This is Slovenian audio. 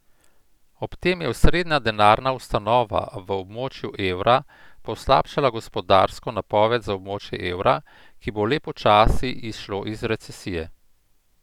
Ob tem je osrednja denarna ustanova v območju evra poslabšala gospodarsko napoved za območje evra, ki bo le počasi izšlo iz recesije.